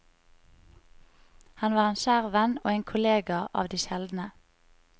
Han var en kjær venn og en kollega av de sjeldne.